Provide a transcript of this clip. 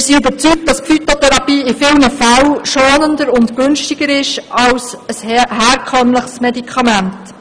Wir sind überzeugt, die Phytotherapie sei in vielen Fällen schonender und günstiger als ein herkömmliches Medikament.